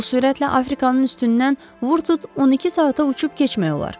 Bu sürətlə Afrikanın üstündən Vurtud 12 saata uçub keçmək olar.